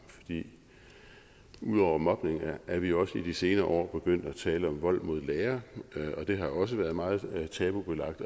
ud over mobning er vi også i de senere år begyndt at tale om vold mod lærere det har også været meget tabubelagt